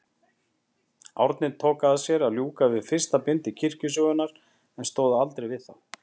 Árni tók að sér að ljúka við fyrsta bindi kirkjusögunnar, en stóð aldrei við það.